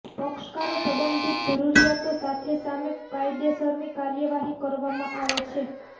પક્ષકારો સંબંધિત જરૂરિયાતો સાથે સામે કાયદેસરની કાર્યવાહી કરવામાં આવે છે